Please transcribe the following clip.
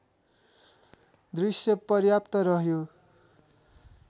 दृश्य पर्याप्त रह्यो